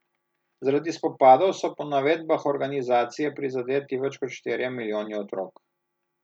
Zaradi spopadov so po navedbah organizacije prizadeti več kot štirje milijoni otrok.